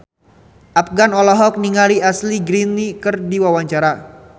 Afgan olohok ningali Ashley Greene keur diwawancara